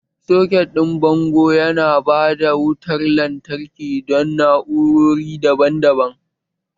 Soketin bango yana ba da wutar lantarki don na'urori daban-daban